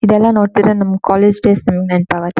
ಇದೆಲ್ಲ ನೋಡ್ತಿದ್ರೆ ನಮ್ ಕಾಲೇಜ್ ಡೇಸ್ ನಮಗೆ ನೆನ್ಪ್ ಆಗುತ್ತೆ.